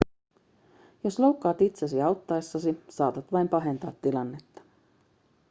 jos loukkaat itsesi auttaessasi saatat vain pahentaa tilannetta